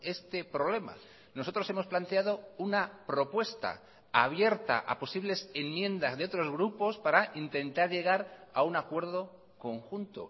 este problema nosotros hemos planteado una propuesta abierta a posibles enmiendas de otros grupos para intentar llegar a un acuerdo conjunto